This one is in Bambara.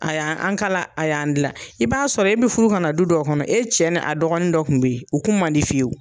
A y'an kalan a y'an gilan i b'a sɔrɔ e bi furu ka na du dɔ kɔnɔ e cɛ n'a dɔgɔnin dɔ kun be ye u kun man di fiyewu